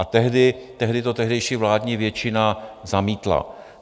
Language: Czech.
A tehdy to tehdejší vládní většina zamítla.